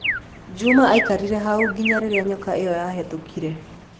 Juma aikarire hau nginya rĩrĩa nyoka ĩyo yahitũkire.